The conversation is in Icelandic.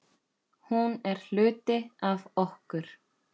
Hún er hluti af okkur.